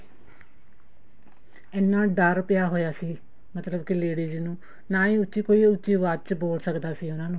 ਇੰਨਾ ਡਰ ਪਿਆ ਹੋਇਆ ਸੀ ਮਤਲਬ ਕੇ ladies ਨੂੰ ਨਾ ਈ ਕੋਈ ਉੱਚੀ ਆਵਾਜ ਚ ਬੋਲ ਸਕਦਾ ਸੀ ਉਹਨਾ ਨੂੰ